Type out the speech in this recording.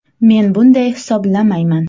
“Men bunday hisoblamayman.